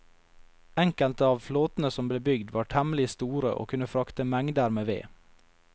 Enkelte av flåtene som ble bygd var temmelig store og kunne frakte mengder med ved.